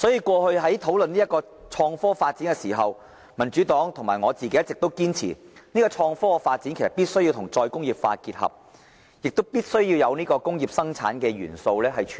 過去討論創科發展時，民主黨和我一直堅持，創科發展必須與再工業化結合，也必須包括工業生產的元素。